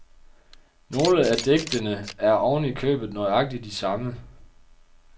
Nogle af digtene er oven i købet nøjagtig de samme.